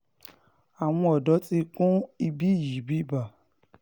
àwọn ọ̀dọ́ ti kún ibí yìí bíbá